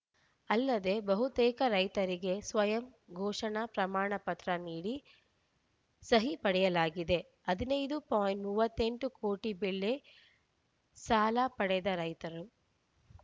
ಅಲ್ಲದೆ ಬಹುತೇಕ ರೈತರಿಗೆ ಸ್ವಯಂ ಘೋಷಣಾ ಪ್ರಮಾಣ ಪತ್ರ ನೀಡಿ ಸಹಿ ಪಡೆಯಲಾಗಿದೆ ಹದಿನೈದುಪಾಯಿಂಟ್ ಮೂವತ್ತ್ ಎಂಟು ಕೋಟಿ ಬೆಳೆ ಸಾಲ ಪಡೆದ ರೈತರು